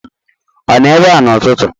Ọ nọ ebe a n'ụtụtụ?